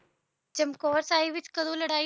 ਚਮਕੌਰ ਸਾਹਿਬ ਵਿੱਚ ਕਦੋਂ ਲੜਾਈ